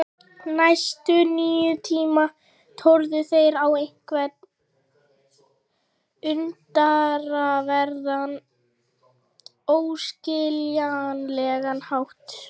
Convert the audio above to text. Næstu níu tímana tórðu þeir á einhvern undraverðan, óskiljanlegan hátt.